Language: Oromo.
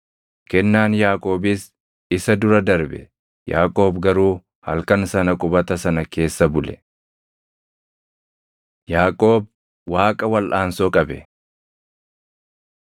Kennaan Yaaqoobiis isa dura darbe; Yaaqoob garuu halkan sana qubata sana keessa bule. Yaaqoob Waaqa Walʼaansoo Qabe